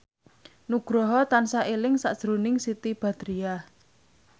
Nugroho tansah eling sakjroning Siti Badriah